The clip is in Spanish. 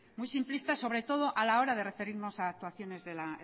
muy simplistas sobre todo a la hora de referirnos a actuaciones de la